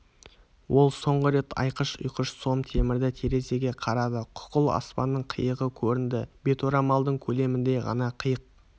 ол соңғы рет айқыш-ұйқыш сом темірді терезеге қарады қуқыл аспанның қиығы көрінді беторамалдың көлеміндей ғана қиық